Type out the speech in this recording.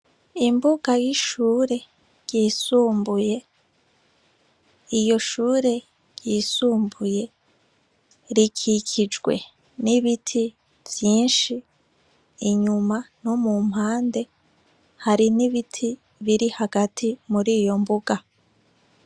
Imbuga y'ishure ryisumbuye, iyo shure ryisumbuye, rikikijwe n'ibiti vyinshi, inyuma no mumpande hari n'ibiti biri hagati mur'iyo mbuga.